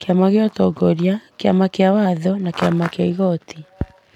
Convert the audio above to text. Kĩama kĩa ũtongoria, kĩama kĩa watho na kĩama kĩa igooti,